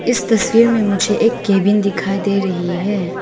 इस तस्वीर में मुझे एक केबिन दिखाई दे रही है।